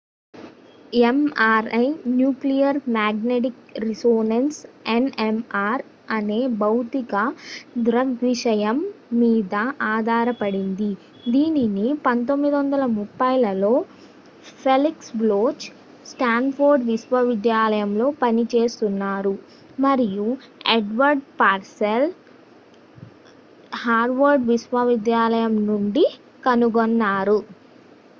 MRI nuclear magnetic resonance NMR అనే భౌతిక దృగ్విషయం మీద ఆధారపడింది దీనిని 1930 లలో ఫెలిక్స్ బ్లోచ్ స్టాన్ఫోర్డ్ విశ్వవిద్యాలయంలో పనిచేస్తున్నారు మరియు ఎడ్వర్డ్ పర్సెల్ హార్వర్డ్ విశ్వవిద్యాలయం నుండి కనుగొన్నారు